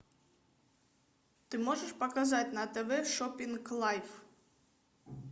ты можешь показать на тв шопинг лайв